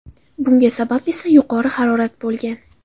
Bunga sabab esa yuqori harorat bo‘lgan.